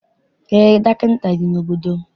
Eé, dọkịta dị n'obodo m.